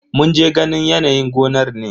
Mun je ganin yanayin gonar ne.